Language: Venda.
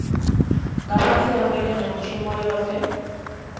nga fhasi ha mbekanyamushumo yohe